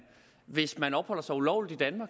hvis man opholder sig ulovligt i danmark